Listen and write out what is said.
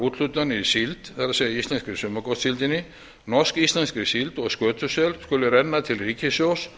úthlutunar í síld það er í íslensku sumargotssíldinni norsk íslenskri síld og skötusel skuli renna til ríkissjóðs